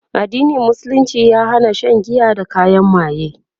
addinin musulunci ya Hana Shan giya da kayan maye